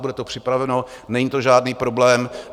Bude to připraveno, není to žádný problém.